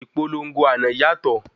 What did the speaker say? Ìpolongo àná yàtọ̀.